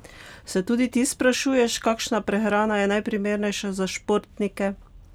Se tudi ti sprašuješ, kakšna prehrana je najprimernejša za športnike?